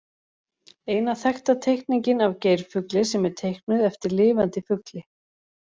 Eina þekkta teikningin af geirfugli sem er teiknuð eftir lifandi fugli.